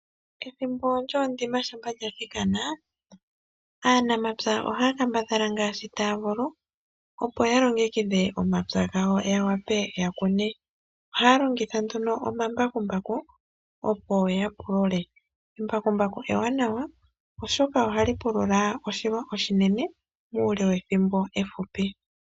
Aanamapya ohaya kambadhala ngaashi taya vulu opo ya ppo ya longekidhe omapya gawo ya wape okukuna. Ohaya longitha nduno omambakumbaku opo ya pulule . Embakumbaku ewanawa oshoka ohali pulula oshilwa oshinene muule wethimbo ehupi.